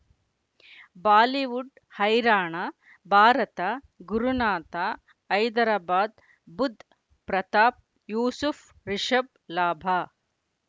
Bollywood ಹೈರಾಣ ಭಾರತ ಗುರುನಾಥ ಹೈದರಾಬಾದ್ ಬುಧ್ ಪ್ರತಾಪ್ ಯೂಸುಫ್ ರಿಷಬ್ ಲಾಭ